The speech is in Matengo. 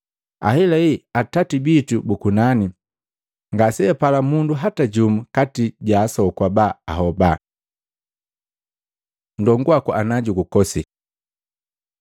Ahelahela, Atati bitu bu kunani ngasejupala mundu hata jumu kati ja asoku aba ahoba.” Ndongu waku najugukosi